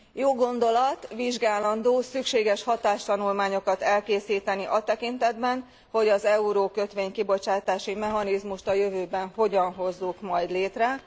Jó gondolat, vizsgálandó, szükséges hatástanulmányokat elkészíteni a tekintetben, hogy az eurókötvény kibocsátási mechanizmust a jövőben hogyan hozzuk majd létre.